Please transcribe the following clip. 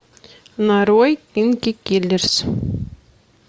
нарой кинки киллерс